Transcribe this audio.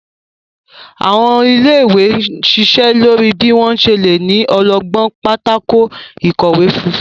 Àwọn ilé-ìwé n ṣíṣe lórí bí wón ṣe lẹ ní ọlọgbọn Pátákó ìkọ̀wé funfun.